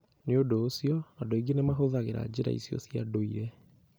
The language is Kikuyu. Nĩ ũndũ ũcio, andũ aingĩ nĩ mahũthagĩra njĩra icio cia ndũire.